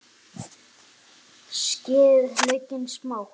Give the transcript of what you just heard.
Skerið laukinn smátt.